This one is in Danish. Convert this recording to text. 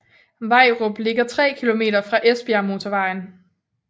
Vejrup ligger 3 km fra Esbjergmotorvejen